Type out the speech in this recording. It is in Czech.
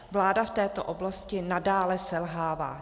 Vláda v této oblasti nadále selhává.